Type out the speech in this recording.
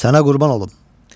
Sənə qurban olum.